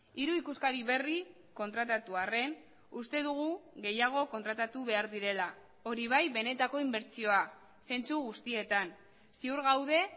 hiru ikuskari berri kontratatu arren uste dugu gehiago kontratatu behar direla hori bai benetako inbertsioa zentzu guztietan ziur gaude